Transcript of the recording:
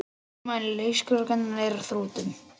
Þolinmæði leikskólakennara er á þrotum